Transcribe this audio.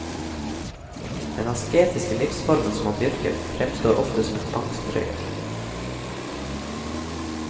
Den asketiske livsformen som han dyrker, fremstår ofte som en tvangstrøye.